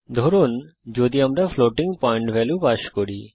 ধরুন যদি আমরা ফ্লোটিং পয়েন্ট ভ্যালু পাস করি